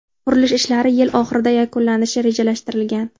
Qurilish ishlari yil oxirida yakunlanishi rejalashtirilgan.